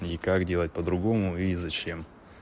и как делать по-другому и зачем